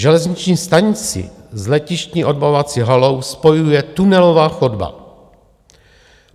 Železniční stanici s letištní odbavovací halou spojuje tunelová chodba.